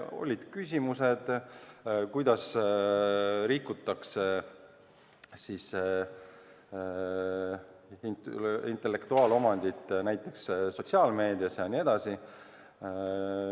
Olid küsimused selle kohta, kuidas rikutakse intellektuaalomandiga näiteks sotsiaalmeedias jm.